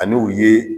Ani u ye